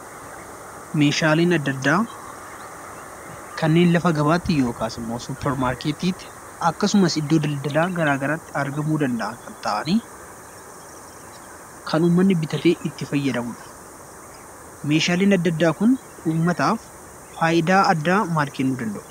Meeshaaleen adda addaa kanneen lafa gabaatti yookiin supper markettii tti akkasumas iddoo Daldaala garagaraatti argamuu danda'a ta'anii kan uummanni bitatee itti fayyadamuudha. Meeshaaleen adda addaa Kun uummataaf faayidaa akkamii kennuu danda'u?